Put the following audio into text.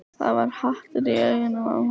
Það var hatur í augunum á honum.